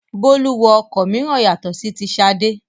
Bólú wọ ọkọ̀ mìíràn yàtọ̀ sí ti Ṣadé.